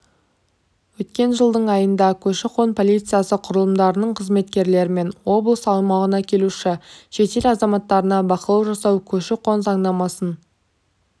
өткен жылдың айында көші-қон полициясы құрылымдарының қызметкерлерімен облыс аумағына келуші шетел азаматтарына бақылау жасау көші-қон заңнамасын